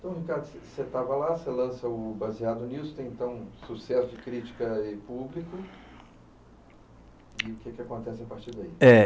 Então, Ricardo, você você estava lá, você lança o baseado nisso, tem então sucesso de crítica em público, e o que acontece a partir daí? É